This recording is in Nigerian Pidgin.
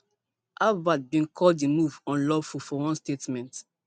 harvard bin call di move unlawful for one statement